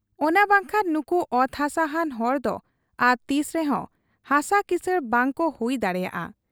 ᱚᱱᱟ ᱵᱟᱝᱠᱷᱟᱱ ᱱᱩᱠᱩ ᱚᱛ ᱦᱟᱥᱟ ᱦᱟᱱ ᱦᱚᱲᱫᱚ ᱟᱨ ᱛᱤᱥᱨᱮᱦᱚᱸ ᱦᱟᱥᱟ ᱠᱤᱥᱟᱹᱬ ᱵᱟᱟᱠᱚ ᱦᱩᱭ ᱫᱟᱲᱮᱭᱟᱜ ᱟ ᱾